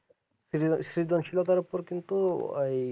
সৃজনশীল তারপর কিন্তু ওয়াই